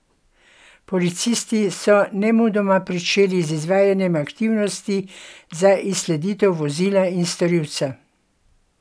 Policisti so nemudoma pričeli z izvajanjem aktivnosti za izsleditev vozila in storilca.